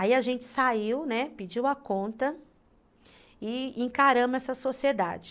Aí a gente saiu, né, pediu a conta e encaramos essa sociedade.